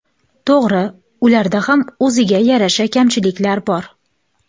To‘g‘ri, ularda ham o‘ziga yarasha kamchiliklar bor.